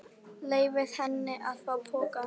Leyfði henni að hafa pokann.